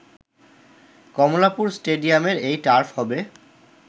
কমলাপুর স্টেডিয়ামের এই টার্ফ হবে